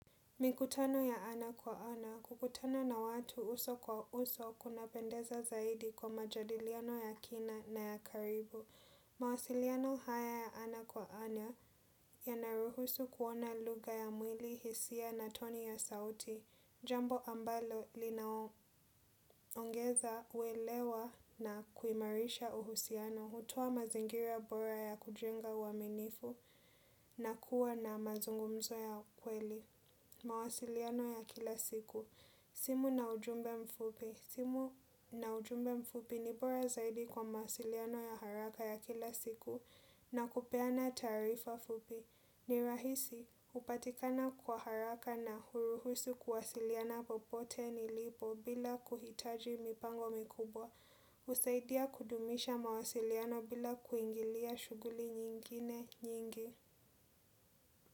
Mikutano ya ana kwa ana, kukutana na watu uso kwa uso kunapendeza zaidi kwa majadiliano ya kina na ya karibu. Mawasiliano haya ya ana kwa ana, yanayohusu kuona lugha ya mwili, hisia na toni ya sauti. Jambo ambalo linaongeza uelewa na kuimarisha uhusiano, hutoa mazingira bora ya kujenga uaminifu na kuwa na mazungumzo ya kweli. Mawasiliano ya kila siku simu na ujumbe mfupi ni bora zaidi kwa maasiliano ya haraka ya kila siku. Na kupeana taarifa fupi ni rahisi hupatikana kwa haraka na huruhusu kuwasiliana popote nilipo bila kuhitaji mipango mikubwa. Usaidia kudumisha mawasiliano bila kuingilia shuguli nyingine nyingi.